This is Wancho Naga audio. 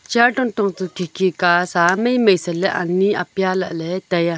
chair katong chu khi khi ka sa mai mai se ley ani apia lah ley tai a.